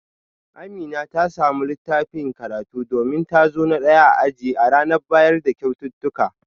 Amina ta samu littafin karatu domin ta zo na daya a aji a ranar bayar da kyaututtuka